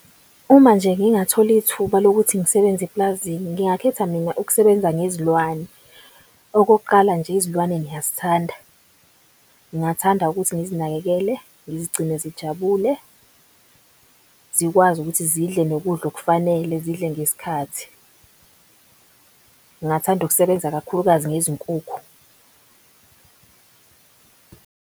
Uma nje ngingathola ithuba lokuthi ngisebenze eplazini ngingakhetha mina ukusebenza ngezilwane. Okokuqala nje izilwane ngiyazithanda ngingathanda ukuthi ngizinakekele, ngizigcine zijabule. Zikwazi ukuthi zidle nokudla okufanele zidle ngesikhathi, ngingathanda ukusebenza, kakhulukazi ngezinkukhu